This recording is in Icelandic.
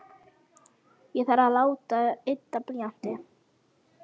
Ég þarf að láta ydda blýantinn.